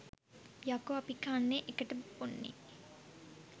යකෝ අපි කන්නේ එකට බොන්නේ